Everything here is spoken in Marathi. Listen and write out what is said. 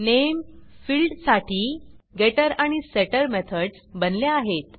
नेम फिल्डसाठी Getterगेटटर आणि Setterसेटर मेथडस बनल्या आहेत